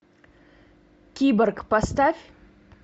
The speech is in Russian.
киборг поставь